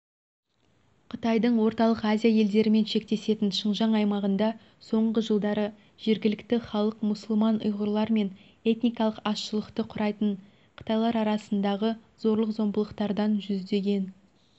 қытайдың орталық азия елдіремен шектесетін шыңжаң аймағында соңғы жылдары жергілікті халық мұсылман ұйғырлар мен этникалық азшылықты құрайтын қытайлар арасындағы зорлық-зомбылықтардан жүздеген